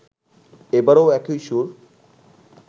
এবারও একই সুর